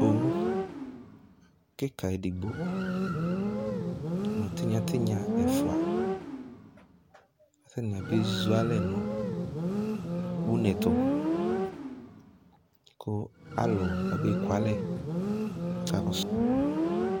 Owu kika edigbo nʋ tinya tinya ɛfua kʋ atani abe zu alɛ nʋ une ɛtʋ kʋ alʋ abeku alɛ kʋ akakɔsʋ